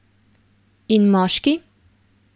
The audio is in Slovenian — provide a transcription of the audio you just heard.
In moški?